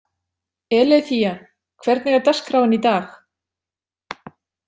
Eileiþía, hvernig er dagskráin í dag?